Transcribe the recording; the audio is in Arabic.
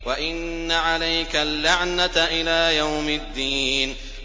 وَإِنَّ عَلَيْكَ اللَّعْنَةَ إِلَىٰ يَوْمِ الدِّينِ